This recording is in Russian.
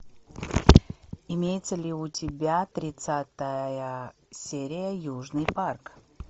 имеется ли у тебя тридцатая серия южный парк